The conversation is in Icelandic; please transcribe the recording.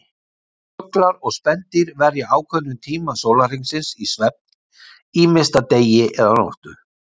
Fuglar og spendýr verja ákveðnum tíma sólarhringsins í svefn, ýmist að degi eða nóttu.